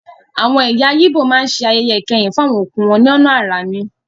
Àwọn ẹ̀yà ígbò má ń ṣe ayẹyẹ ìkẹyìn fún àwọn òkú wọn lọ́nà àrà ni